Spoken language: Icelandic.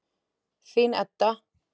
Þín Edda.